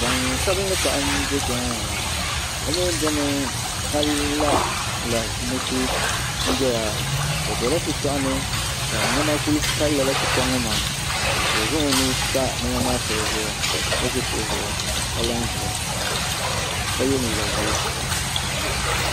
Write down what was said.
Gbansabinli paɣa n do kpɛ ŋo maa o mii domi ka la lari mushi n doya o dola shitoɣu ni ka niɛma ku pali lala shitoɣu ŋo maa ka o zaŋ o nuu pa niɛma maa shɛli zuɣu ka ʒi kuɣu zuɣu ka la n ʒiya ka yɛ liiga ʒiɛ